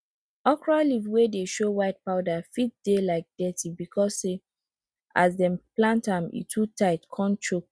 okro leaf wey dey show white powder fit dey like dirty becos say as dem plant am e too tight con choke